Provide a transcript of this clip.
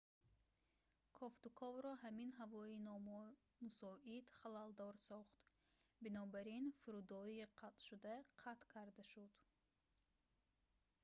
кофтуковро ҳамин ҳавои номусоид халалдор сохт бинобар ин фурудоӣ қатъшуда қатъ карда шуд